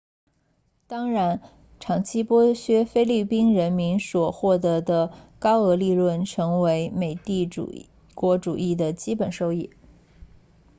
当然长期剥削菲律宾人民所获得的高额利润成为美帝国主义的基本收益